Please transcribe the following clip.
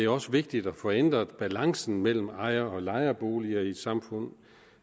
også vigtigt at få ændret balancen mellem ejer og lejeboliger i et samfund